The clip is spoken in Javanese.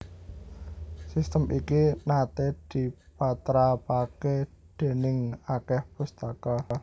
Sistem iki naté dipatrapaké déning akèh pustaka